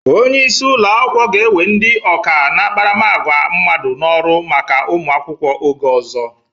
Onye isi ụlọ akwụkwọ ga-ewe ndị ọkà n'akparamàgwà mmadụ n'ọrụ maka ụmụ akwụkwọ oge ọzọ.